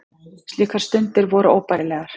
Slíkar stundir voru óbærilegar.